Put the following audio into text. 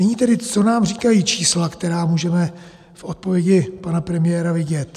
Nyní tedy, co nám říkají čísla, která můžeme v odpovědi pana premiéra vidět.